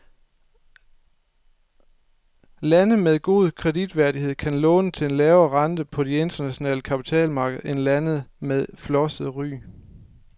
Lande med god kreditværdighed kan låne til en lavere rente på de internationale kapitalmarkeder end lande med flosset ry.